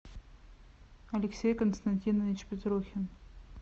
алексей константинович петрухин